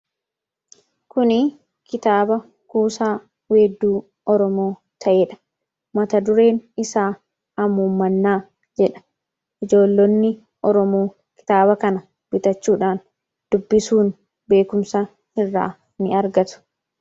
Kunii kitaaba kuusaa weedduu Oromoo ta'eedha. Mata-dureen isaa 'Hamuummannaa' jedha. Ijoollonni Oromoo kitaaba kana bitachuudhaan dubbisuun beekumsa irraa ni argatu.